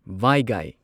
ꯚꯥꯢꯒꯥꯢ